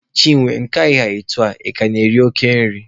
Chinwe, nke a ị ha etu a, ị ka na-eri oke nri?